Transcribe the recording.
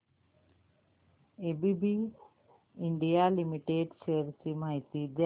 ABB India limited shares ची माहिती द्या